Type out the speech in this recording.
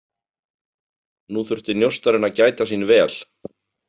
Nú þurfti njósnarinn að gæta sín vel.